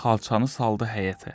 Xalçanı saldı həyətə.